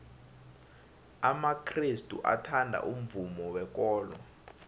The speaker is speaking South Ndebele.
amakrestu athanda umvumo wekolo